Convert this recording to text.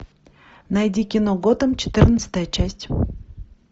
найди кино готэм четырнадцатая часть